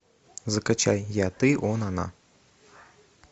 закачай я ты он она